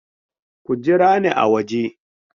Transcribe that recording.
Ku jira ni a waje!